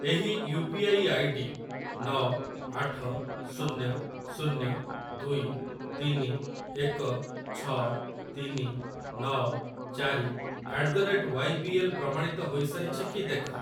ଏହି U P I I D ନ ଆଠ ଶୂନ୍ୟ ଶୂନ୍ୟ ଦୁଇ ତିନି ଏକ ଛ ତିନି ନ ଚାରି at the rate Y B L ପ୍ରମାଣିତ ହୋଇସାରିଛି କି ଦେଖ।